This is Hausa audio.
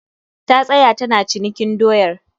Ta tsaya tana cinikin doyar